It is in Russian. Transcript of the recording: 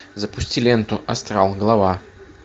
запусти ленту астрал глава